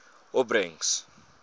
opbrengs